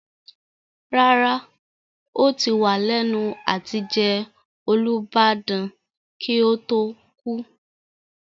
Rárá, ó ti wà lẹ́nu àtijẹ Olubadan kí ó tó kú.